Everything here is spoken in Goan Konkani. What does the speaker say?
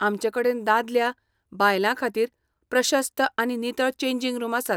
आमचे कडेन दादल्या, बायलां खातीर प्रशस्त आनी नितळ चेंजिंग रूम आसात.